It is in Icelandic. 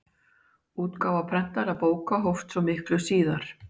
útgáfa prentaðra bóka hófst svo miklu síðar